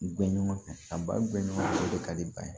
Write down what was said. U bɛ ɲɔgɔn fɛ a baɲumankɛ o de ka di ba ye